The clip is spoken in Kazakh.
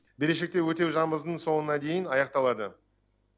берешекті өтеу соңына дейін аяқталады